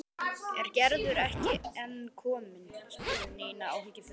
Er Gerður ekki enn komin? spurði Nína áhyggjufull.